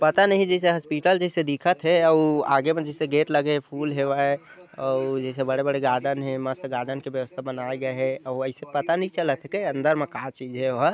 पता नहीं जैसे हॉस्पिटल जैसे दिखत हे औ आगे भी जैसे गेट लगे हे फुल हेवय और जैसे बड़े बड़े गार्डन हे मस्त गार्डन के व्यवस्था बनाये गये हे अऊ वैसे पता नई चलत हे अंदर म का चीज तेन हा ।